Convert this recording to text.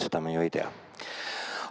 Seda me ju ei tea.